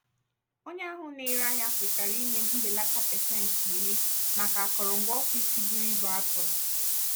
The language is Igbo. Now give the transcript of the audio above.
onye ahụ na-ere ahịa kwetara inye m mbelata pasentị iri (10%) maka akụrụngwa ọfịs buru ibu a tụrụ.